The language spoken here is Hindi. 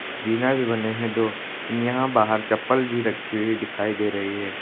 जीना भी बने हैं दो यहां बाहर चप्पल भी रखी हुई दिखाई दे रही है।